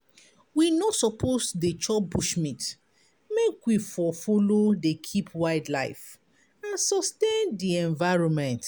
We no suppose dey chop bushmeat make we for follow dey keep wildlife and sustain di environment.